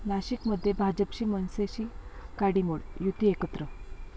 नाशिकमध्ये भाजपची मनसेशी काडीमोड, युती एकत्र